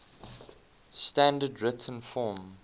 standard written form